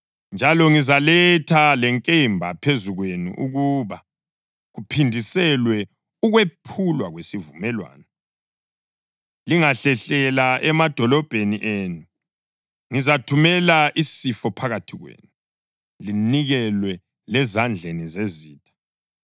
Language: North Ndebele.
Njalo ngizaletha lenkemba phezu kwenu ukuba kuphindiselwe ukwephulwa kwesivumelwano. Lingahlehlela emadolobheni enu, ngizathumela isifo phakathi kwenu, linikelwe lezandleni zezitha.